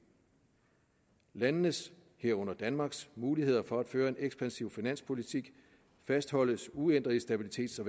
landenes herunder danmarks muligheder for at føre en ekspansiv finanspolitik fastholdes uændret i stabilitets og